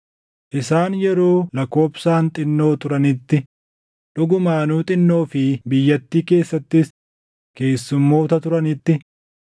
Isaan yeroo lakkoobsaan xinnoo turanitti, dhugumaanuu xinnoo fi biyyattii keessattis keessummoota turanitti,